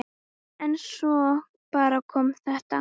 En svo bara kom þetta.